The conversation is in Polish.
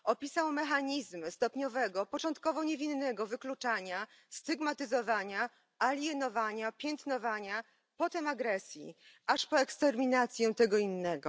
Opisał mechanizmy stopniowego, początkowo niewinnego wykluczania, stygmatyzowania, alienowania, piętnowania, potem agresji, aż po eksterminację tego innego.